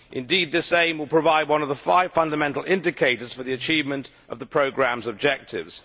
Indeed, this aim will provide one of the five fundamental indicators for the achievement of the programme's objectives.